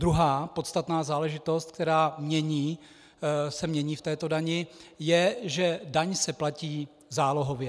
Druhá podstatná záležitost, která se mění v této dani, je že daň se platí zálohově.